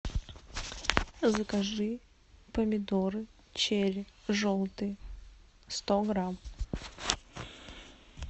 закажи помидоры черри желтые сто грамм